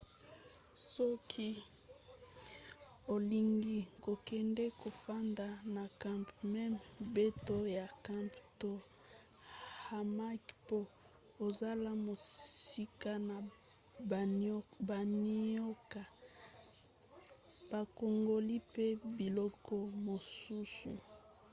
soki olingi kokende kofanda na camp mema mbeto ya camp to hamac po ozala mosika na banioka bankongoli mpe biloko mosusu